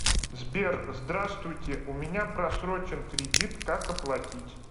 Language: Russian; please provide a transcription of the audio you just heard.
сбер здравствуйте у меня просрочен кредит как оплатить